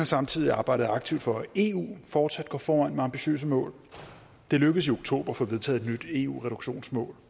samtidig arbejdet aktivt for at eu fortsat går foran med ambitiøse mål det lykkedes i oktober at få vedtaget et nyt eu reduktionsmål